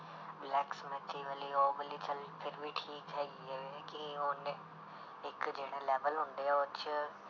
Blacksmith ਵਾਲੀ ਉਹ ਵਾਲੀ ਚੱਲ ਫਿਰ ਵੀ ਠੀਕ ਹੈਗੀ ਹੈ ਵੀ ਕਿ ਉਹਨੇ ਇੱਕ ਜਿਹੜੇ level ਹੁੰਦੇ ਆ ਉਹ 'ਚ